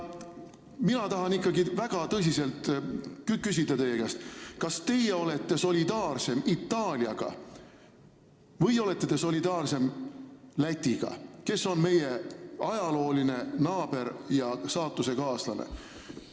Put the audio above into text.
Mina tahan ikkagi väga tõsiselt küsida teie käest, kas te olete solidaarsem Itaaliaga või te olete solidaarsem Lätiga, kes on meie ajalooline naaber ja saatusekaaslane.